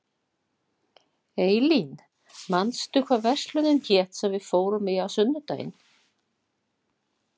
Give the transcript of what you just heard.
Eylín, manstu hvað verslunin hét sem við fórum í á sunnudaginn?